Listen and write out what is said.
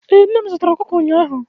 ee, nne m zụtara okụkụ ụnyaahụ